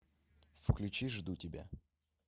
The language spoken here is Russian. включи жду тебя